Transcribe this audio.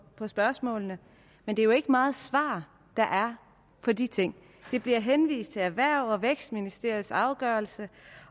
på spørgsmålene men det er jo ikke meget svar der er på de ting der bliver henvist til erhvervs og vækstministeriets afgørelse